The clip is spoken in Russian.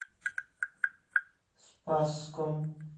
спасском